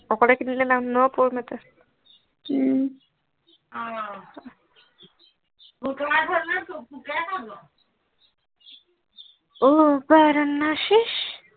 অকলে কিনিলে লাভ নহব উম পুতেৰে খাব অহ বাৰা নাচি